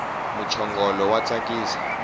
muchongolo wa tsakisa